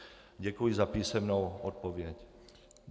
Děkuji za písemnou odpověď.